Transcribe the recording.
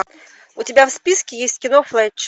у тебя в списке есть кино флетч